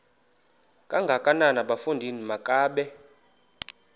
kangakanana bafondini makabe